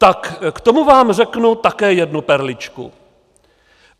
Tak k tomu vám řeknu také jednu perličku.